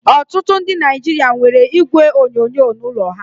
Ọtụtụ ndị Naijiria nwere igwe onyonyo n'ụlọ ha